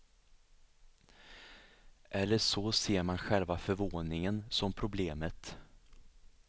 Eller så ser man själva förvåningen som problemet.